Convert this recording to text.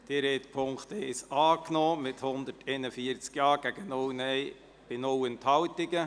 Sie haben Ziffer 1 angenommen mit 141 Ja- gegen 0 Nein-Stimmen bei 0 Enthaltungen.